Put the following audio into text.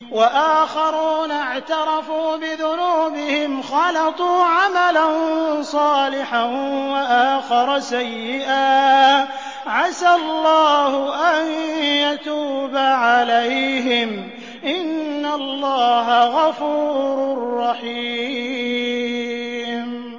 وَآخَرُونَ اعْتَرَفُوا بِذُنُوبِهِمْ خَلَطُوا عَمَلًا صَالِحًا وَآخَرَ سَيِّئًا عَسَى اللَّهُ أَن يَتُوبَ عَلَيْهِمْ ۚ إِنَّ اللَّهَ غَفُورٌ رَّحِيمٌ